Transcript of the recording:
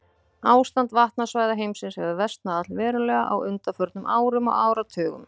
Ástand vatnasvæða heimsins hefur versnað allverulega á undanförnum árum og áratugum.